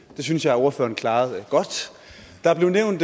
det synes jeg ordføreren klarede godt der blev nævnt